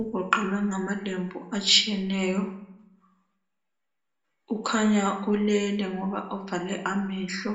ugoqelwe ngamalembu atshiyeneyo. Ukhanya ulele ngoba uvale amehlo.